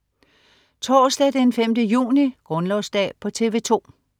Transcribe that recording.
Torsdag den 5. juni - Grundlovsdag - TV 2: